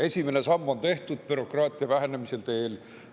Esimene samm on tehtud bürokraatia vähendamise teel.